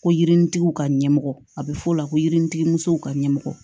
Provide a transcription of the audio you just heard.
Ko yirinitigiw ka ɲɛmɔgɔ a bɛ f'o la ko yirinintigi musow ka ɲɛmɔgɔ